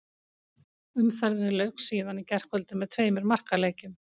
Umferðinni lauk síðan í gærkvöldi með tveimur markaleikjum.